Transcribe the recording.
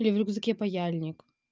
и в рюкзаке паяльник